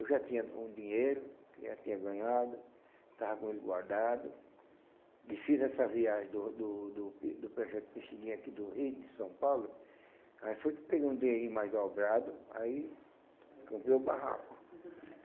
Eu já tinha um dinheiro, já tinha ganhado, estava com ele guardado, e fiz essa viagem do do do do projeto Pixinguinha aqui do Rio, de São Paulo, aí foi que peguei um dinheirinho mais dobrado, aí comprei o barraco.